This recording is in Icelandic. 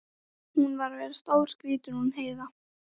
Hún var að verða stórskrýtin hún Heiða.